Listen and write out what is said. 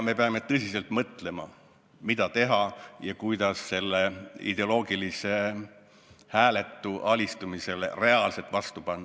Me peame tõsiselt mõtlema, mida teha ja kuidas sellele ideoloogilisele hääletule alistumisele reaalselt vastu panna.